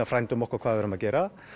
frændum okkar hvað við erum að gera